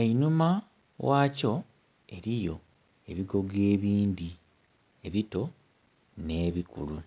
Einhuma ghakyo eriyo ebigogo ebindhi ebito ne bikulu.